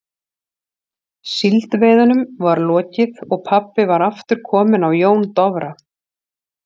Síldveiðunum var lokið og pabbi var aftur kominn á Jón Dofra.